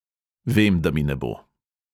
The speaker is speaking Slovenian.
"Vem, da mi ne bo."